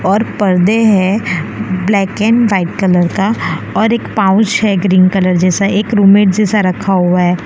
और पर्दे है ब्लैक एंड व्हाइट कलर का और एक पाउच है ग्रीन कलर जैसा एक रूम मेट जैसा रखा हुआ है।